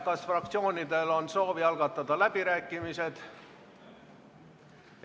Kas fraktsioonidel on soovi algatada läbirääkimised?